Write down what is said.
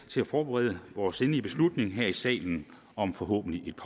til at forberede vores endelige beslutning her i salen om forhåbentlig et